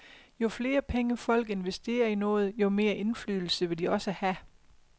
Jo flere penge, folk investerer i noget, jo mere indflydelse vil de også have.